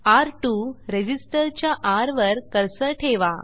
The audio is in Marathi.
र2 रेझिस्टर च्या र वर कर्सर ठेवा